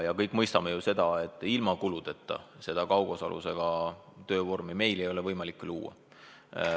Me kõik ju mõistame, et ilma kuludeta kaugosalusega töövormi ei ole võimalik luua.